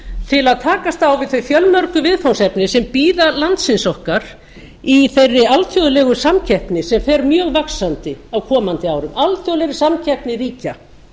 til að takast á við þau fjölmörgu viðfangsefni sem bíða landsins okkar í þeirri alþjóðlegu samkeppni sem fer mjög vaxandi á komandi árum alþjóðlegri samkeppni ríkja